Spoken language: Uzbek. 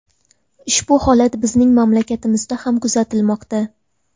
Ushbu holat bizning mamlakatimizda ham kuzatilmoqda.